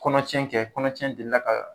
Kɔnɔtiɲɛ kɛ kɔnɔtiɲɛ delila ka